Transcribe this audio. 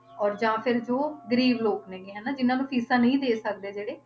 ਔਰ ਜਾਂ ਫਿਰ ਜੋ ਗ਼ਰੀਬ ਲੋਕ ਨੇ ਗੇ ਹਨਾ, ਜਿੰਨਾਂ ਨੂੰ ਫ਼ੀਸਾਂ ਨੂੰ ਦੇ ਸਕਦੇ ਜਿਹੜੇ